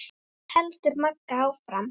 heldur Magga áfram.